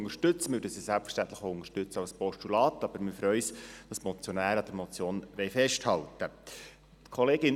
Wir würden den Vorstoss selbstverständlich auch als Postulat unterstützen, aber wir freuen uns darüber, dass die Motionäre an der Motion festhalten wollen.